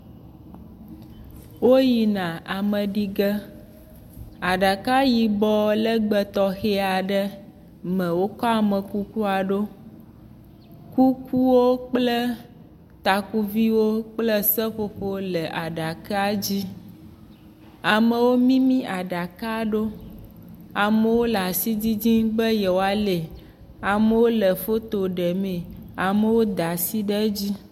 Woyina ame ɖi ge. Aɖaka yibɔ legbe tɔxe aɖe me wokɔ amekuku la ɖo. Kukuwo kple takuviwo kple seƒoƒowo le aɖaka dzi. Amewo mimi aɖaka ɖo. Amewo le asi didiim be yewoa li. Amewo le foto ɖe mee. Amewo da asi ɖe edzi.